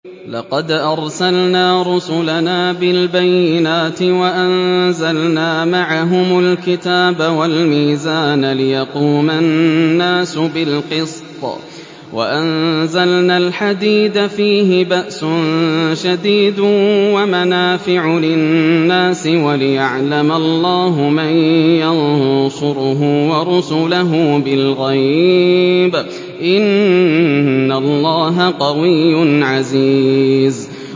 لَقَدْ أَرْسَلْنَا رُسُلَنَا بِالْبَيِّنَاتِ وَأَنزَلْنَا مَعَهُمُ الْكِتَابَ وَالْمِيزَانَ لِيَقُومَ النَّاسُ بِالْقِسْطِ ۖ وَأَنزَلْنَا الْحَدِيدَ فِيهِ بَأْسٌ شَدِيدٌ وَمَنَافِعُ لِلنَّاسِ وَلِيَعْلَمَ اللَّهُ مَن يَنصُرُهُ وَرُسُلَهُ بِالْغَيْبِ ۚ إِنَّ اللَّهَ قَوِيٌّ عَزِيزٌ